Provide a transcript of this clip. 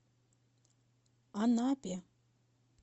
анапе